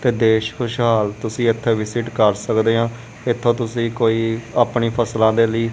ਤੇ ਦੇਸ਼ ਖੁਸ਼ਹਾਲ ਤੁਸੀਂ ਇਥੇ ਵਿਜਿਟ ਕਰ ਸਕਦੇ ਆਂ ਇਥੋਂ ਤੁਸੀਂ ਕੋਈ ਆਪਣੀ ਫਸਲਾਂ ਦੇ ਲਈ।